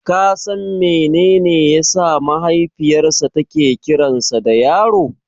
Ka san menene yasa mahaifiyarsa take kiransa da Yaro?